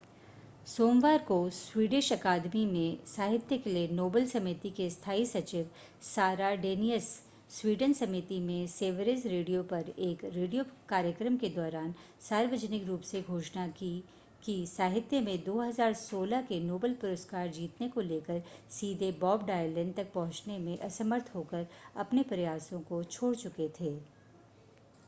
सोमवार को स्वीडिश अकादमी में साहित्य के लिए नोबेल समिति के स्थाई सचिव सारा डेनियस स्वीडन समिति में सेवरिज रेडियो पर एक रेडियो कार्यक्रम के दौरान सार्वजनिक रूप से घोषणा की कि साहित्य में 2016 के नोबेल पुरस्कार जीतने को लेकर सीधे बॉब डायलन तक पहुंचने में असमर्थ होकर अपने प्रयासों को छोड़ चुके थे